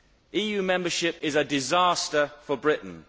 EU membership is a disaster for Britain.